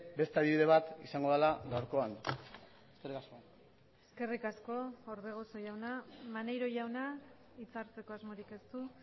beste adibide bat izango dela gaurkoan eskerrik asko eskerrik asko orbegozo jauna maneiro jauna hitza hartzeko asmorik ez du